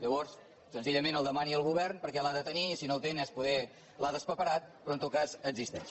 llavors senzillament el demani al govern perquè l’ha de tenir i si no el tenen potser l’ha traspaperat però en tot cas existeix